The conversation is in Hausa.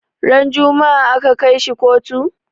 Ran juma'a aka kai shi kotu?